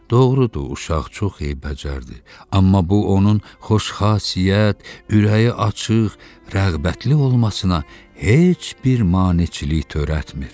Doğrudur, uşaq çox eybəcərdi, amma bu onun xoşxasiyyət, ürəyi açıq, rəğbətli olmasına heç bir maneçilik törətmir.